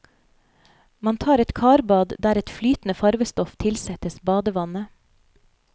Man tar et karbad der et flytende farvestoff tilsettes badevannet.